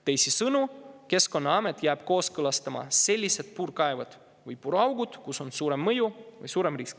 Teisisõnu, Keskkonnaamet jääb kooskõlastama selliste puurkaevude või puuraukude, mille puhul on suurem mõju või suurem risk.